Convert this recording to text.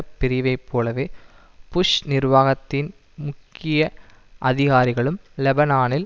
பிரிவை போலவே புஷ் நிர்வாகத்தின் முக்கிய அதிகாரிகளும் லெபனானில்